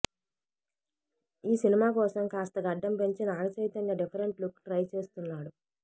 ఈ సినిమా కోసం కాస్త గడ్డం పెంచి Nag Chaitanya different look try చేస్తున్నాడు